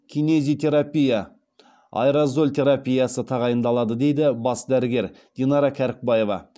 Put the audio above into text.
кинезитерапия аэрозоль терапиясы тағайындалады дейді бас дәрігер динара кәрікбаева